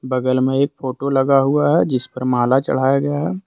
बगल में एक फोटो लगा हुआ है जिस पर माला चढ़ाया गया है।